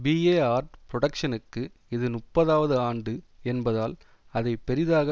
BA art புரொடக்ஷ்னுக்கு இது முப்பாதவது ஆண்டு என்பதால் அதை பெரிதாக